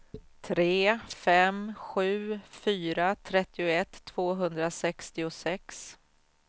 tre fem sju fyra trettioett tvåhundrasextiosex